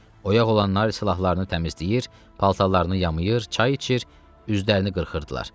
Oyaq olanlar silahlarını təmizləyir, paltarlarını yuyur, çay içir, üzlərini qırxırdılar.